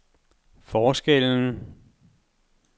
forskellen